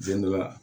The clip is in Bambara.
Don dɔ la